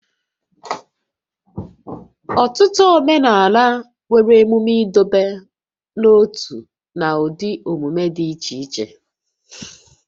Ọtụtụ omenala nwere emume ịdọba n'ótú na ụdị omume dị iche iche